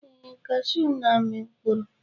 Ee, cashew n'ami mkpụrụ.